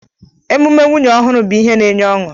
Emume nwunye ọhụrụ bụ ihe n'enye ọṅụ